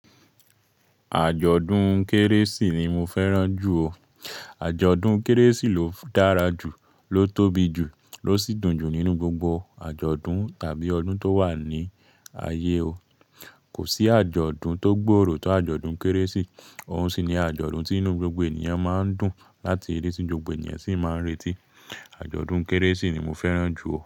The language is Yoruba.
Àjọ̀dún Kérésì ni mo fẹ́ràn jù o. Àjọ̀dún Kérésì ló dára jù, ló tóbi jù, ló sí dùn jù nínú gbogbo àjọ̀dún tàbí ọdún tó wà ní ayé o. Kò sí àjọ̀dún to gbòòrò tó àjọ̀dún Kérésì. Òun sì ni àjọ̀dún tí inú gbogbo ènìyàn máa ń dùn láti rí, ti gbogbo ènìyàn sì máa ń retí. Àjọ̀dún Kérésì ni mo fẹ́ràn jù o.